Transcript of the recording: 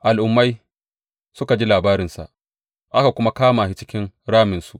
Al’ummai suka ji labarinsa, aka kuma kama shi cikin raminsu.